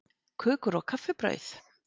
KÖKUR OG KAFFIBRAUÐ